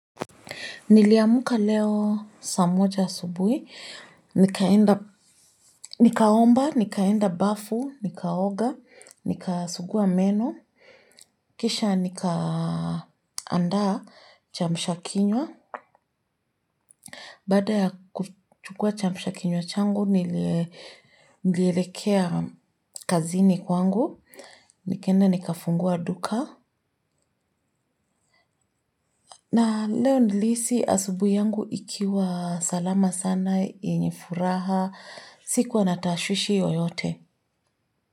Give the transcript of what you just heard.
Niliamka leo saa moja asubuhi. Nikaomba, nikaenda bafu, nikaoga, nikasugua meno. Kisha nikaanda cha kuamsha kinywa. Baada ya kuchukua cha kuamsha kinywa changu, nilekea kazini kwangu. Nikaenda nikafungua duka. Na leo nilihisi asubuhi yangu ikiwa salama sana yenye furaha. Sikuwa na tashwishi yoyote.